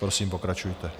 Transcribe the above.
Prosím, pokračujte.